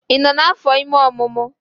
Ị nọ n'afọ ime omumu?